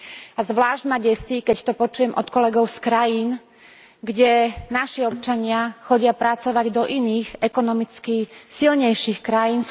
A zvlášť ma desí, keď to počujem od kolegov z krajín, kde naši občania chodia pracovať do iných ekonomicky silnejších krajín.